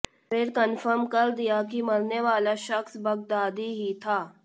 फिर कंफर्म कर दिया कि मरने वाला शख्स बगदादी ही था